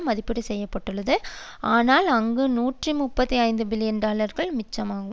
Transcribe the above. மதிப்பீடு செய்துள்ளது இனால் அங்கு நூற்றி முப்பத்தி ஒன்பது பில்லியன் டாலர்கள் மிச்சமாகும்